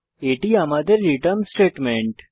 এটি আমাদের return statement